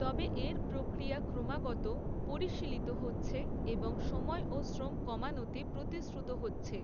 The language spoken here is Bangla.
তবে, এর প্রক্রিয়া ক্রমাগত পরিশীলিত হচ্ছে, এবং সময় ও শ্রম কমানোতে প্রতিশ্রুত হচ্ছে।